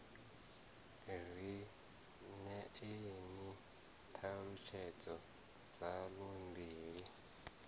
ri ṋeeni ṱhalutshedzo dzaḽo mbili